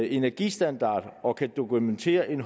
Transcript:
energistandard og kan dokumentere en